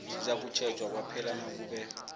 sizakutjhejwa kwaphela nakube